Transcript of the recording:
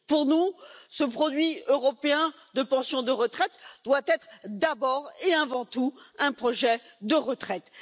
Pour nous, ce produit européen de pension de retraite doit être d'abord et avant tout un projet de retraite.